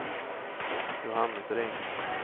Johannes Ring